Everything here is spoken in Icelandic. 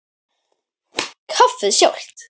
Kaffið sjálft.